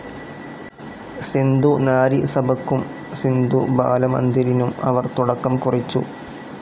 സിന്ധു നാരി സഭയ്ക്കും സിന്ധു ബാല മന്ദിരിനും അവർ തുടക്കം കുറിച്ചു.